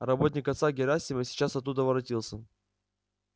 работник отца герасима сейчас оттуда воротился